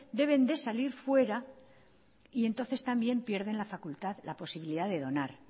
deben de salir fuera y entonces también pierden la facultad la posibilidad de donar